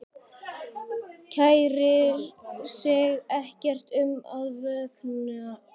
Kærir sig ekkert um að vökna.